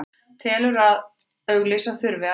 Telur að auglýsa þurfi að nýju